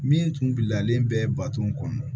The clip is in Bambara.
Min tun bilalen bɛ bato kɔnɔ